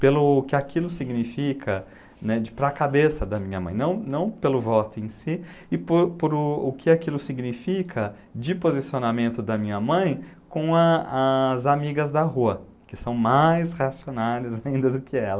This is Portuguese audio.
Pelo que aquilo significa né, para a cabeça da minha mãe, não não pelo voto em si, e por por o que aquilo significa de posicionamento da minha mãe com a as amigas da rua, que são mais racionais ainda do que ela.